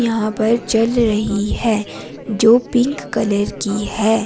यहां पर चल रही है जो पिंक कलर की है।